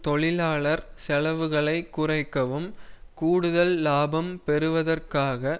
தொழிலாளர் செலவுகளை குறைக்கவும் கூடுதல் இலாபம் பெறுவதற்காக